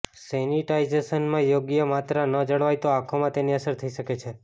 સેનિટાઈઝેશનમાં યોગ્ય માત્રા ન જળવાય તો આંખોમાં તેની અસર થઈ શકે છે